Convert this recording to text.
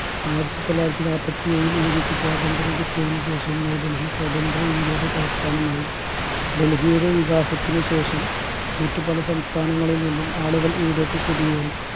ആയിരത്തിതൊള്ളായിരത്തി നാൽപത്തി ഏഴിൽ ഇന്ത്യക്കു സ്വാതന്ത്ര്യം കിട്ടിയതിനു ശേഷം ന്യൂ ഡെൽഹി സ്വതന്ത്ര ഇന്ത്യയുടെ തലസ്ഥാനമായി ഡെൽഹിയുടെ വികാസത്തിനു ശേഷം മറ്റു പല സംസ്ഥാനങ്ങളിൽ നിന്നും ആളുകൾ ഇവിടെക്ക് കുടിയേറി